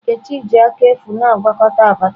Nkechi ji aka efu na-agwakọta Abacha.